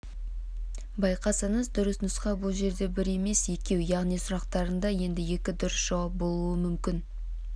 байқасаңыз дұрыс нұсқа бұл жерде бір емес екеу яғни сұрақтарында енді екі дұрыс жауап болуы мүмкін